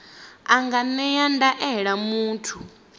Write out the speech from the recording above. a nga ṅea ndaela muthu